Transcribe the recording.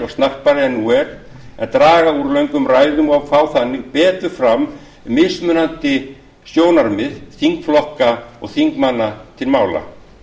og snarpari en nú er en draga úr löngum ræðum og fá þannig betur fram mismunandi sjónarmið þingflokka og þingmanna til mála